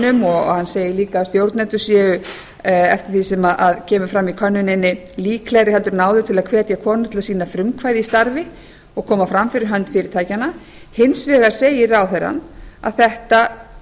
stöðuhækkunum og hann segir líka að stjórnendur séu eftir því sem kemur fram í könnuninni líklegri heldur en áður til að sýna frumkvæði í starfi og koma fram fyrir hönd fyrirtækjanna hins vegar viðurkennir ráðherrann að þetta